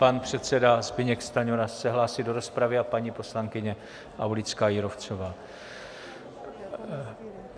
Pan předseda Zbyněk Stanjura se hlásí do rozpravy a paní poslankyně Aulická Jírovcová.